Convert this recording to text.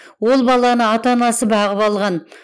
ол баланы ата анасы бағып алған